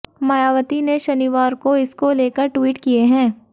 मायावती ने शनिवार को इसको लेकर ट्वीट किए हैं